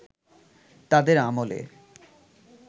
তাদের আমলে